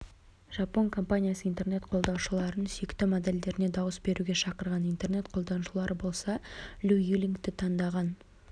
жапон компаниясы интернет қолданушыларын сүйікті модельдеріне дауыс беруге шақырған интернет қолданушылары болса лю юлингті таңдаған